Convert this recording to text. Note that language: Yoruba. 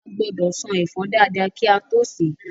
A gbọ́dọ̀ ṣan ẹ̀fọ́ dáadáa kí a tó sè é